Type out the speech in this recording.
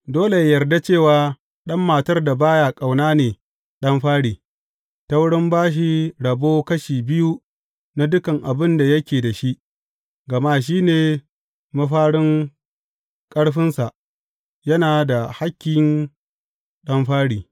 Dole yă yarda cewa ɗan matar da ba ya ƙaunar ne ɗan fari, ta wurin ba shi rabo kashi biyu na dukan abin da yake da shi, gama shi ne mafarin ƙarfinsa, yana da hakkin ɗan fari.